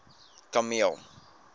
kameel